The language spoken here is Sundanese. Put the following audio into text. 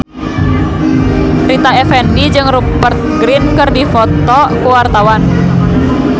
Rita Effendy jeung Rupert Grin keur dipoto ku wartawan